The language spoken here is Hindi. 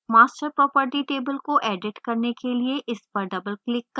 master property table को edit करने के लिए इस पर double click करें